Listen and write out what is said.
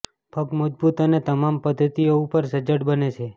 પગ મજબૂત અને તમામ પદ્ધતિઓ ઉપર સજ્જડ બને છે